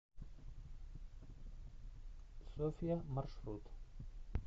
софья маршрут